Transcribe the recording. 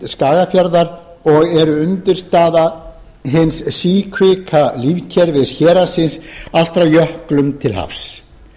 og eru undirstaða hins síkvika lífkerfis héraðsins allt frá jöklum til hafs